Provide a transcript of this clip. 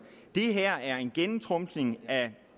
det her er at gennemtrumfe